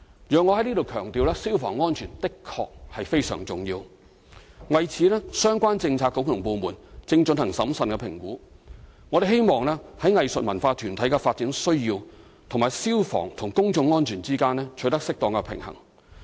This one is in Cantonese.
容我在此強調，消防安全的確非常重要，相關政策局和部門正就此進行審慎評估，我們希望在藝術文化團體的發展需要和消防與公眾安全之間取得適當平衡。